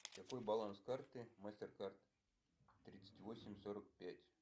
какой баланс карты мастер кард тридцать восемь сорок пять